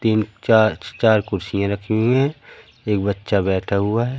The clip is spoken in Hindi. तीन चार चार कुर्सियाँ रखी हुई हैं एक बच्चा बैठा हुआ है।